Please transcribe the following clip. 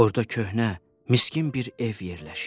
Orda köhnə, miskin bir ev yerləşir.